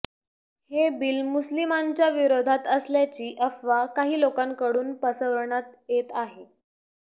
हे बिल मुस्लिमांच्या विरोधात असल्याची अफवा काही लोकांकडून पसरवण्यात येत आहे